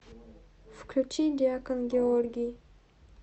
включи диакон георгий